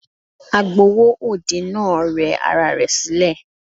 Agbowó òde náà rẹ ara rẹ̀ sílẹ̀.